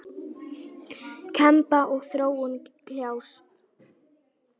Kempa og Þróun kljást.